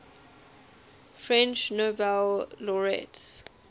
french nobel laureates